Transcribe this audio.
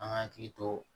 An ka hakili to